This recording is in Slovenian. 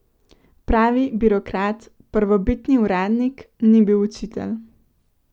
Pravi birokrat, prvobitni uradnik, ni bil učitelj.